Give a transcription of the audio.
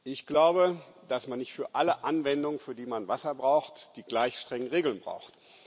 Ich glaube, dass man nicht für alle Anwendungen, für die man Wasser braucht, die gleich strengen Regeln braucht.